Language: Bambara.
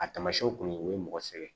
A tamasiɲɛw kun ye o ye mɔgɔ sɛgɛn